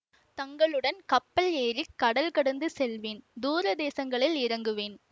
தங்களுடன் கப்பல் ஏறி கடல் கடந்து செல்வேன் தூர தேசங்களில் இறங்குவேன்